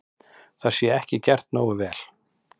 Það sé ekki gert nógu vel.